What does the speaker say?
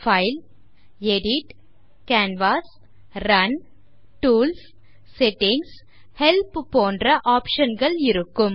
file edit canvas run tools settings help போன்ற options இருக்கும்